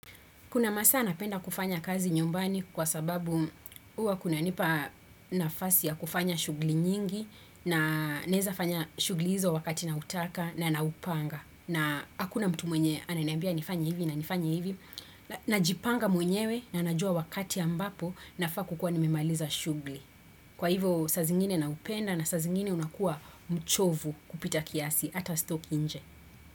Kuna masa napenda kufanya kazi nyumbani kwa sababu uwa kunanipa nafasi ya kufanya shugli nyingi na neza fanya shugli hizo wakati na utaka na naupanga na hakuna mtu mwenye ananeambia nifanya hivi na nifanya hivi na jipanga mwenyewe na anajua wakati ambapo na fa kukua nimemaliza shugli. Kwa hivo sa zingine naupenda na sa zingine unakua mchovu kupita kiasi ata stoki nje.